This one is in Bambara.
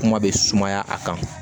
Kuma bɛ sumaya a kan